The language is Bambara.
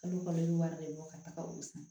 Kalo kalo wari de bɛ bɔ ka taga olu san